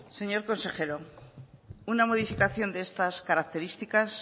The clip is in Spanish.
señor consejero una modificación de estas características